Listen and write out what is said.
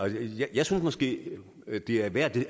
jeg synes måske at det er værd